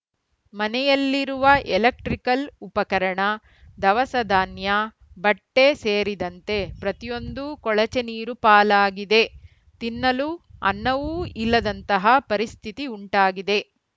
ಮನೆಯಲ್ಲಿರುವ ಎಲೆಕ್ಟ್ರಿಕಲ್‌ ಉಪಕರಣ ಧವಸಧಾನ್ಯ ಬಟ್ಟೆಸೇರಿದಂತೆ ಪ್ರತಿಯೊಂದೂ ಕೊಳಚೆ ನೀರು ಪಾಲಾಗಿದೆ ತಿನ್ನಲು ಅನ್ನವೂ ಇಲ್ಲದಂತಹ ಪರಿಸ್ಥಿತಿ ಉಂಟಾಗಿದೆ